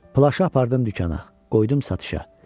Plaşı apardım dükana, qoydum satışa.